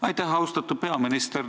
Aitäh, austatud peaminister!